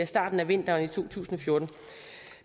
starten af vinteren to tusind og fjorten